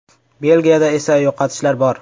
Belgiyada esa yo‘qotishlar bor.